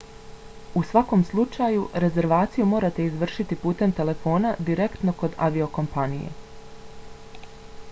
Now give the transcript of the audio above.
u svakom slučaju rezervaciju morate izvršiti putem telefona direktno kod aviokompanije